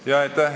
Aitäh!